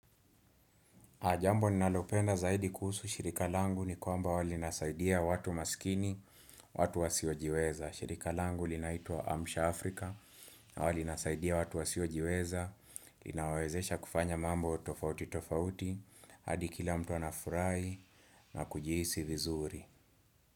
Jambo ninalopenda zaidi kuhusu shirika langu ni kwamba huwali nasaidia watu maskini, watu wasiojiweza. Shirika langu linaitwa Amsha Afrika, huwalinasaidia watu wasiojiweza, linawawezesha kufanya mambo tofauti tofauti, hadikila mtu anafurahi na kujihisi vizuri.